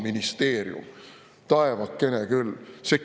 Kliimaministeerium, taevakene küll!